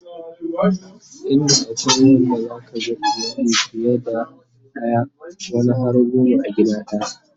inda akwai Wanda zaka ga iyali fiye da daya wani har goma a gida daya